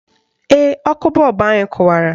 Ee, ọkụ bọọbụ anyị kụwara